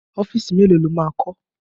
Ọ́fíìsì mélòó lo máa kọ́?